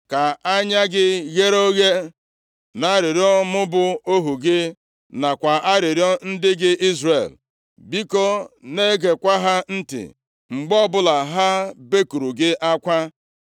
“Ka anya gị ghere oghe nʼarịrịọ mụ bụ ohu gị, nakwa nʼarịrịọ ndị gị Izrel, biko, na-egekwa ha ntị mgbe ọbụla ha bekuru gị akwa.